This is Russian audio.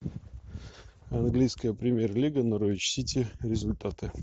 английская премьер лига норвич сити результаты